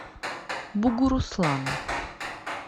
бугуруслану